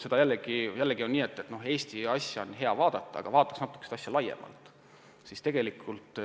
Eesti asja on hea vaadata küll, aga vaataks seda asja ka natuke laiemalt.